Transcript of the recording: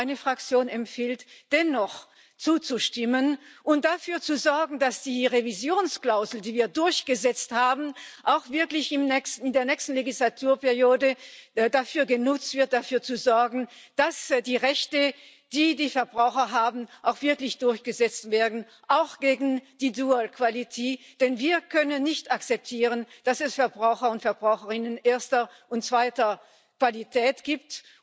Meine Fraktion empfiehlt dennoch zuzustimmen und dafür zu sorgen, dass die Revisionsklausel, die wir durchgesetzt haben, auch wirklich in der nächsten Wahlperiode dafür genutzt wird, dafür zu sorgen, dass die Rechte, die die Verbraucher haben, auch wirklich durchgesetzt werden, auch gegen die dual quality denn wir können nicht akzeptieren, dass es Verbraucher und Verbraucherinnen erster und zweiter Qualität gibt.